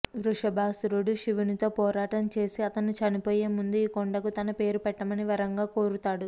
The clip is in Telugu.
వృషభాసురుడు శివుని తో పోరాటం చేసి అతను చనిపోయే ముందు ఈ కొండకు తన పేరు పెట్టమని వరంగా కోరుతాడు